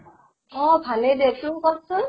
অʼ ভালেই দে । তোৰ কʼ চোন ?